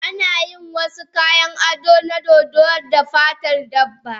Ana yin wasu kayan ado na dodo da fatar dabba.